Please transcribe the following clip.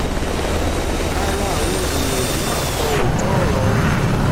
ara àwọn èèyàn yìí mà kọ òótọ́ ọ̀rọ̀ o